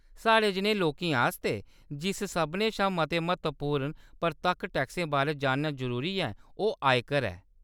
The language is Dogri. साढ़े जनेहे लोकें आस्तै, जिस सभनें शा मते म्हत्तवपूर्ण परतक्ख टैक्सै बारै जानना जरूरी ऐ, ओह् आयकर ऐ।